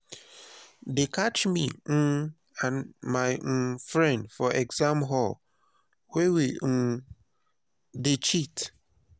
dey catch me um and my um friend for exam hall where we um dey cheat